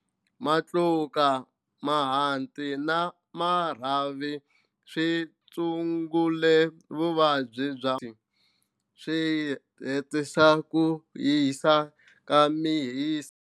Matluka, mahanti na marhavi swi tshungula vuvabyi bya swi hetisa ku hisa ka mihisa.